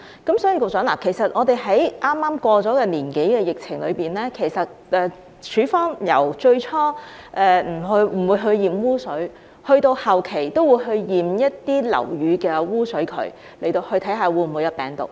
局長，在剛過去1年多的疫情中，署方由最初不檢驗污水，到後期會去檢驗一些樓宇的污水渠，以檢測是否存有病毒。